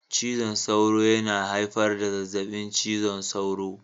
Cizon sauro yana haifar da zazzabin cizon sauro